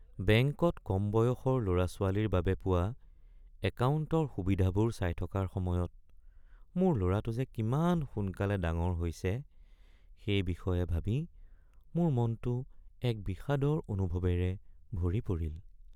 বেংকত কম বয়সৰ ল’ৰা-ছোৱালীৰ বাবে পোৱা একাউণ্টৰ সুবিধাবোৰ চাই থকাৰ সময়ত মোৰ ল’ৰাটো যে কিমান সোনকালে ডাঙৰ হৈছে সেই বিষয়ে ভাবি মোৰ মনটো এক বিষাদৰ অনুভৱেৰে ভৰি পৰিল।